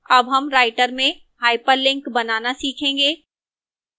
अब हम writer में hyperlink बनाना सीखेंगे